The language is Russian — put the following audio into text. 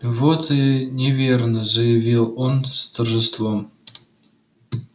вот и неверно заявил он с торжеством